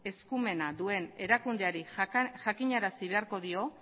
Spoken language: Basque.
eskumena duen erakundeari jakinarazi beharko dio